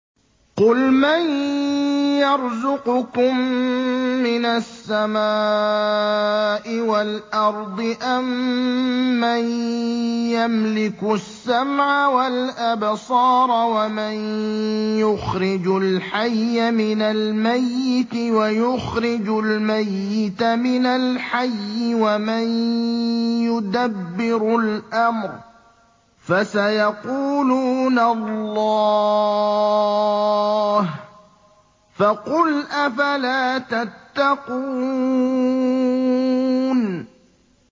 قُلْ مَن يَرْزُقُكُم مِّنَ السَّمَاءِ وَالْأَرْضِ أَمَّن يَمْلِكُ السَّمْعَ وَالْأَبْصَارَ وَمَن يُخْرِجُ الْحَيَّ مِنَ الْمَيِّتِ وَيُخْرِجُ الْمَيِّتَ مِنَ الْحَيِّ وَمَن يُدَبِّرُ الْأَمْرَ ۚ فَسَيَقُولُونَ اللَّهُ ۚ فَقُلْ أَفَلَا تَتَّقُونَ